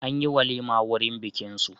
An yi walima wurin bikinsu.